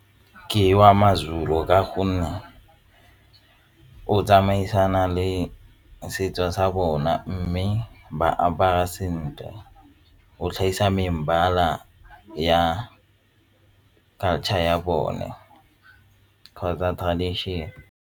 Ke wa ma-Zulu ka gonne o tsamaisana le setso sa bona mme ba apara sentle o tlhagisa mebala ya culture ya bone kgotsa tradition.